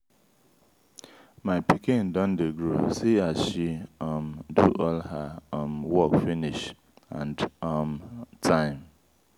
my pikin don dey grow see as she um do all her um work finish and on um time.